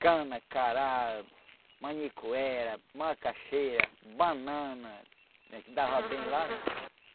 Cana, cará, manicuera, macaxeira, banana, que dava bem lá, né?